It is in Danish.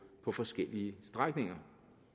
på forskellige strækninger